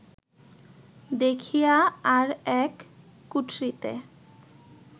দেখিয়া আর এক কুঠরিতে